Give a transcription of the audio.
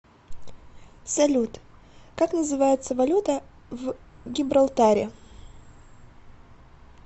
салют как называется валюта в гибралтаре